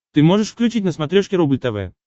ты можешь включить на смотрешке рубль тв